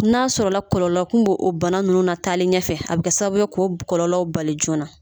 N'a sɔrɔla kɔlɔlɔ kun b'o o bana nunnu na taali ɲɛfɛ a bi kɛ sababu ye k'o kɔlɔlɔw bali joona na